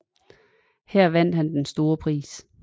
Her vandt han den store Pris